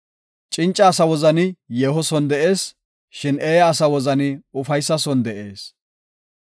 Cinca asa wozani yeeho son de7ees; shin eeya asa wozani ufaysa son de7ees.